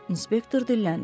İnspektor dilləndi.